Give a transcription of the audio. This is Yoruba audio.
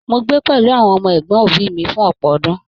Mó gbé pẹlú àwọn ọmọ ẹgbọn òbí mí fún ọpọ ọdún.